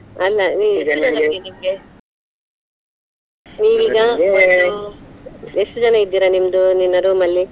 ಅಲ್ಲಾ ನೀ ನಿಮ್ಗೆ ನೀವೀಗ ಎಷ್ಟು ಜನ ಇದ್ದೀರಾ ನಿಮ್ದು ನಿನ್ನ room ಅಲ್ಲಿ?